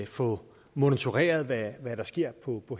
få monitoreret hvad der sker på